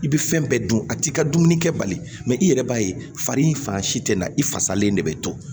I bɛ fɛn bɛɛ dun a t'i ka dumuni kɛ bali mɛ i yɛrɛ b'a ye fari fanga si tɛ na i fasalen de bɛ to